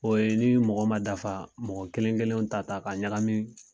O ye ni mɔgɔ ma dafa mɔgɔ kelen kelenw ta ta ka ɲagami